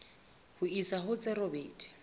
ho isa ho tse robedi